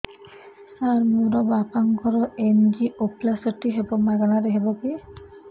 ସାର ମୋର ବାପାଙ୍କର ଏନଜିଓପ୍ଳାସଟି ହେବ ମାଗଣା ରେ ହେବ କି